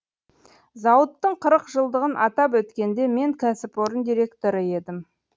зауыттың қырық жылдығын атап өткенде мен кәсіпорын директоры едім